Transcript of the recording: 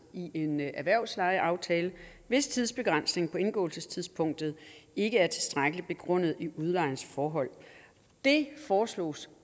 i en erhvervslejeaftale hvis tidsbegrænsningen på indgåelsestidspunktet ikke er tilstrækkeligt begrundet i udlejerens forhold det foreslås